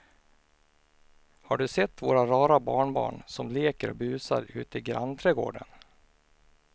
Har du sett våra rara barnbarn som leker och busar ute i grannträdgården!